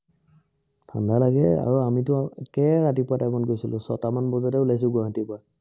ঠাণ্ডা লাগে আৰু একেবাৰে ৰাতিপুৱা time ত গৈছিলো ছটা মান বজাতে ওলাইছো গুৱাহাটীৰ পৰা